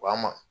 Wa an ma